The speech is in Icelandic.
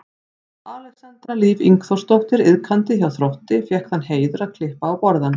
Alexandra Líf Ingþórsdóttir iðkandi hjá Þrótti fékk þann heiður að klippa á borðann.